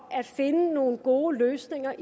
at finde nogle gode løsninger